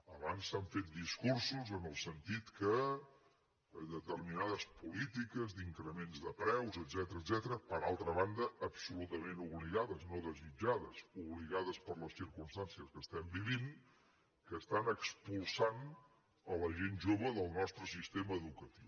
abans s’han fet discursos en el sentit que determinades polítiques d’increments de preus etcètera per altra banda absolutament obligades no desitjades obligades per les circumstàncies que estem vivint estan expulsant la gent jove del nostre sistema educatiu